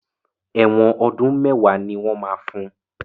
Ẹ̀wọ́n ọdú́n mẹ́wàá ni máa fun.